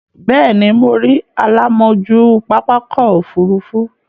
Bẹ́ẹ̀ ni, mo rí alámòójú pápákọ̀-òfurufú.